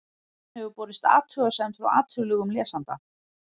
ritstjórn hefur borist athugasemd frá athugulum lesanda